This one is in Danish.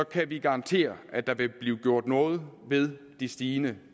kan vi garantere at der vil blive gjort noget ved de stigende